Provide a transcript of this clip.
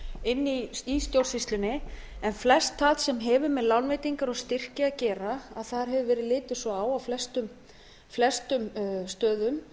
inn í stjórnsýslunni en flest það sem hefur með lánveitingar og styrki að gera þá hefur á flestum stöðum